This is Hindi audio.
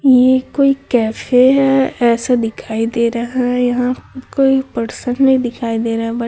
ये कोई कैफे है ऐसा दिखाई दे रहा है यहाँ कोई पर्सन नहीं दिखाई दे रहा है बट --